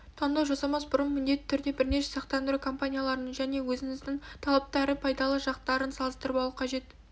таңдау жасамас бұрын міндетті түрде бірнеше сақтандыру компанияларының және өзіңіздің талаптары мен пайдалы жақтарын салыстырып алу қажет